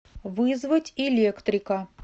вызвать электрика